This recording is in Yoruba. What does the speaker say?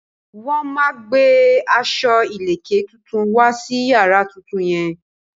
Wọ́n máa gbé aṣọ ìlèkè tuntun wá sí yàrá tuntun yẹn.